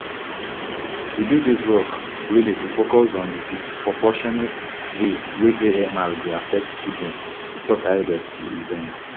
we do dis work really to focus on di disproportionate way wey amr dey affect children e tok ahead of di event